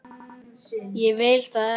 Ég vil það ekki.